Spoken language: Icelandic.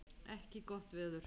ekki gott veður.